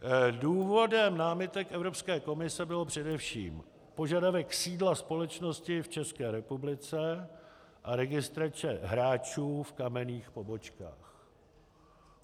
Důvodem námitek Evropské komise byl především požadavek sídla společnosti v České republice a registrace hráčů v kamenných pobočkách.